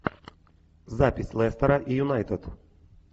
запись лестера и юнайтед